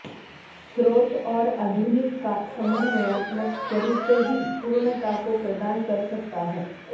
स्रोत और आधुनिक का समन्वयात्मक स्वरूप ही पूर्णता को प्रदान कर सकता है